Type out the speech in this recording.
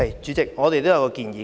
主席，我們也有一項建議。